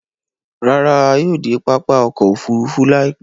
Ràrà, à yóò de pápá ọkọ̀ òfurufú láìpẹ̀